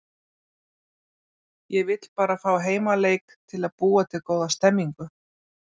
Ég vill bara fá heimaleik til að búa til góða stemmningu.